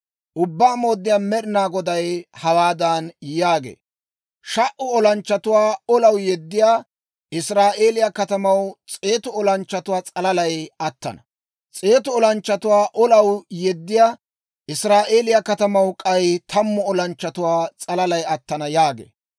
Ubbaa Mooddiyaa Med'inaa Goday hawaadan yaagee; «Sha"u olanchchatuwaa olaw yeddiyaa Israa'eeliyaa katamaw s'eetu olanchchatuwaa s'alalay attana; s'eetu olanchchatuwaa olaw yeddiyaa Israa'eeliyaa katamaw k'ay tammu olanchchatuwaa s'alalay attana» yaagee.